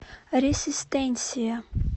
ресистенсия